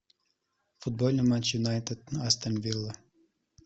футбольный матч юнайтед астон вилла